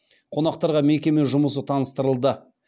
қонақтарға мекеме жұмысы таныстырылды